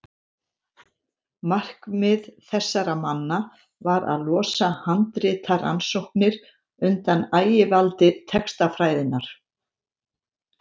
markmið þessara manna var að losa handritarannsóknir undan ægivaldi textafræðinnar